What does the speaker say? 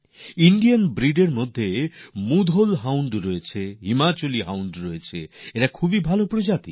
ভারতীয় প্রজাতির মুধোল হাউন্ড আছে হিমাচলি হাউন্ড আছে এগুলি খুবই ভাল প্রজাতির